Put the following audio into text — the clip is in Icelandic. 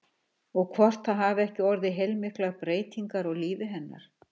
Og hvort það hafi ekki orðið heilmiklar breytingar á lífi hennar?